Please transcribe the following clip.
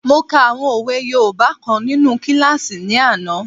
Mo ka àwọn òwe yoòbá kan nínu kílásì ní àná